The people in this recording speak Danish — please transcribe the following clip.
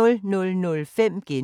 DR P3